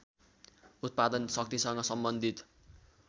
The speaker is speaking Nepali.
उत्पादन शक्तिसँग सम्बन्धित